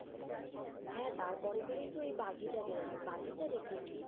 হ্যাঁ তার পরেই পরেই তো বাঘী টা বের হল, বাঘী টা দেখেছি।